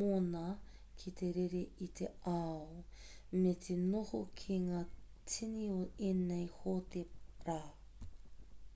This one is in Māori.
moni ki te rere i te ao me te noho ki ngā tini o ēnei hōtera